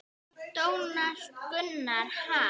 Donald Gunnar: Ha?